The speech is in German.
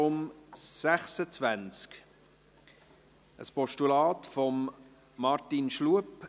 Es handelt sich um ein Postulat von Martin Schlup.